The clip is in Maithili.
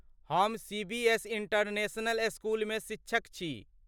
हम सीबीएस इंटरनेशनल स्कूलमे शिक्षक छी।